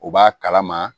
U b'a kalama